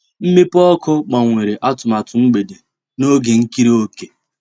Mwepụ́ ọ́kụ́ gbànwèrè àtụ̀màtụ́ mgbedé n'ògé ìkírí òkè.